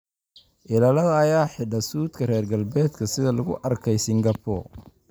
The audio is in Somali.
Ilaalada ayaa xidha suudhka reer galbeedka sida lagu arkay Singapore.